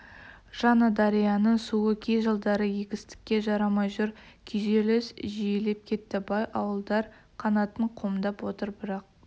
жаңадарияның суы кей жылдары егістікке жарамай жүр күйзеліс жиілеп кетті бай ауылдар қанатын қомдап отыр бірақ